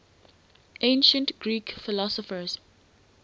ancient greek philosophers